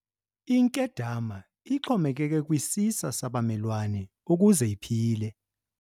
Inkedama ixhomekeke kwisisa sabamelwane ukuze iphile.